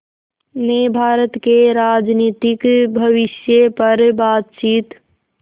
ने भारत के राजनीतिक भविष्य पर बातचीत